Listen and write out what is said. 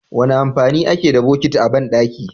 Wane amfani ake da botiki a bandaki?